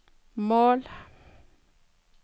mål